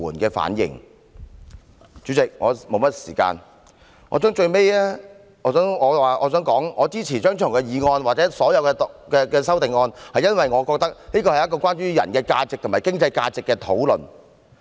代理主席，我的發言時間所餘不多，我最後想說的是，我支持張超雄議員的議案及所有修正案，因為我覺得這是關於人的價值和經濟價值的討論。